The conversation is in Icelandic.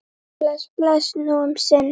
Bless, bless, nú um sinn.